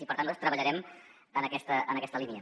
i per tant nosaltres treballarem en aquesta línia